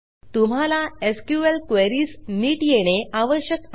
तुम्हाला एसक्यूएल queriesनीट येणे आवश्यक आहे